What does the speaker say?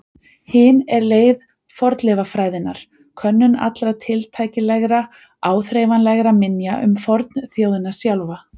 Hin er leið fornleifafræðinnar, könnun allra tiltækilegra áþreifanlegra minja um fornþjóðina sjálfa.